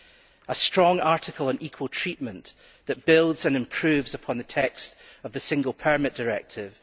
There is a strong article on equal treatment that builds and improves upon the text of the Single Permit Directive.